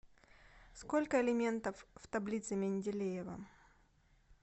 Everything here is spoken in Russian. сколько элементов в таблице менделеева